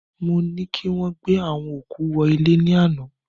Mo ni kí wọ́n gbé àwọn òkú wọ ilẹ̀ ní àná